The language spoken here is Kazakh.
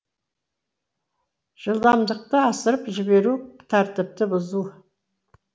жылдамдықты асырып жіберу тәртіпті бұзу